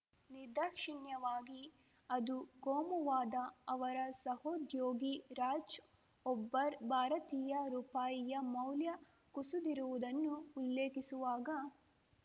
ನಿರ್ದಾಕ್ಷಿಣ್ಯವಾಗಿ ಅದು ಕೋಮುವಾದ ಅವರ ಸಹೋದ್ಯೋಗಿ ರಾಜ್‌ ಒಬ್ಬರ್‌ ಭಾರತೀಯ ರುಪಾಯಿಯ ಮೌಲ್ಯ ಕುಸಿದಿರುವುದನ್ನು ಉಲ್ಲೇಖಿಸುವಾಗ